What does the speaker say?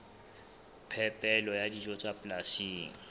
phepelo ya dijo tsa polasing